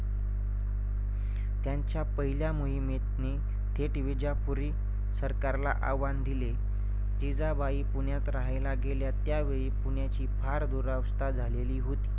त्यांच्या पहिल्या मोहिमेतनी थेट विजापुरी सरकारला आव्हान दिले. जिजाबाई पुण्यात राहील गेल्या त्यावेळी पुण्याची फार दुरवस्था झालेली होती.